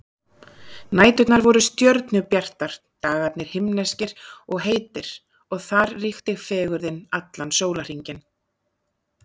Næturnar voru stjörnubjartar, dagarnir himneskir og heitir og þar ríkti fegurðin allan sólarhringinn.